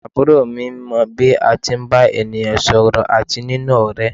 Àbúrò mi mọ bí a tí ń bá ènìyàn sọ̀rọ̀ àti níní ọ̀rẹ́.